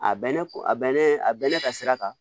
A bɛnnen a bɛnnen a bɛnnen ka sira kan